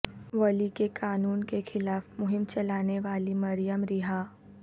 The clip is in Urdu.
ولی کے قانون کے خلاف مہم چلانے والی مریم رہا